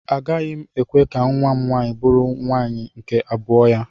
Agaghị m ekwe ka nwa m nwaanyị bụrụ nwaanyị nke abụọ ya.